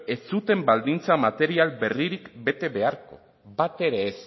ez zuten baldintza material berririk bete behar